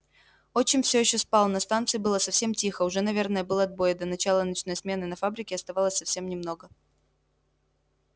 отчим все ещё спал на станции было совсем тихо уже наверное был отбой и до начала ночной смены на фабрике оставалось совсем немного